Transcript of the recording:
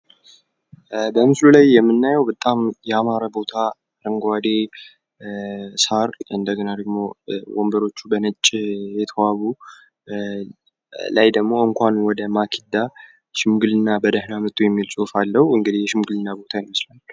በምስሉ ላይ የምናየዉ በጣም ያማረ ቦታ አረንጓዴ ሳር እንደገና ደግሞ ወንበሮቹ በነጭ የተዋቡ ላይ ደሞ እንኳን ወደ ማክዳ የሽምግልና ቦታ